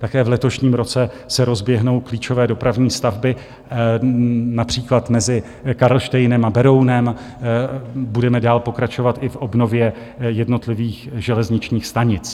Také v letošním roce se rozběhnou klíčové dopravní stavby, například mezi Karlštejnem a Berounem, budeme dál pokračovat i v obnově jednotlivých železničních stanic.